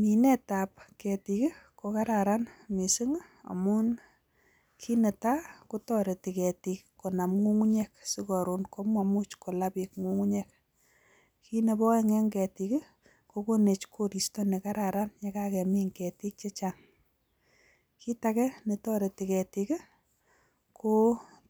Minet ab ketik ko kararan mising amun kit netai ko ketik ko toreti ko nam ngungunyek si ma la beek, kiit bebo aeng ko ketik ko konu koristo nekararan, ketik ko